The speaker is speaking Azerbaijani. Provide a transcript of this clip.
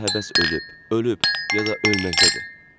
Onda həvəs ölüb, ölüb, ya da ölməkdədir.